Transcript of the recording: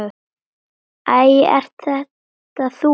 Æ, ert þetta þú elskan?